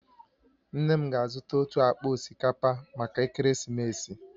Nne m ga-azụta otu akpa osikapa maka ekeresimesi